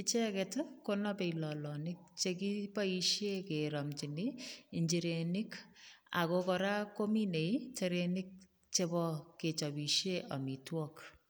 Icheget ko napei lolonit che kiboisie keramchini injirenik ago kora kominei terenik chebo kechabisie amitwogik.